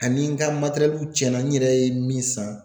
Ani n ka cɛnna n yɛrɛ ye min san.